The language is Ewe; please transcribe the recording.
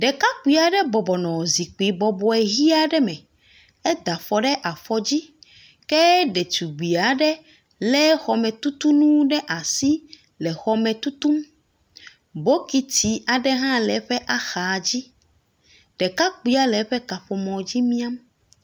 Ɖekakpui aɖe bɔbɔ nɔ zikpi bɔbɔ ʋi aɖe me. Eda afɔ ɖe afɔdzi ke detugbui aɖe lé xɔmetutu nu ɖe asi le xɔme tutum. Bokiti aɖe hã le eƒe axadzi. Ɖekakpuia le eƒe kaƒomɔdzi miam